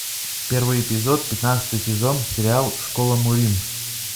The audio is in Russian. первый эпизод пятнадцатый сезон сериал школа мурим